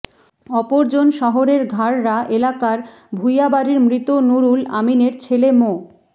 অপরজন শহরের ঘাড়রা এলাকার ভূইয়া বাড়ির মৃত নুরুল আমিনের ছেলে মো